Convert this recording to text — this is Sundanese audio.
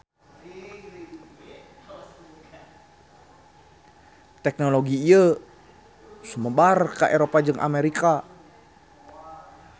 Teknologi ieu sumebar ka Eropa jeung Amerika.